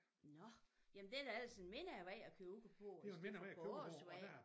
Nå jamen det da ellers en mindre vej at køre ud på end på Åsvej